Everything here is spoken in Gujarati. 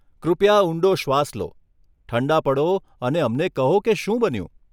કૃપયા ઊંડો શ્વાસ લો, ઠંડા પડો અને અમને કહો કે શું બન્યું?